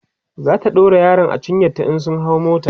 zata ɗaura yaron a cinyanta in sun hau mota